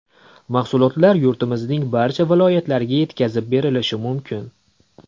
Mahsulotlar yurtimizning barcha viloyatlariga yetkazib berilishi mumkin.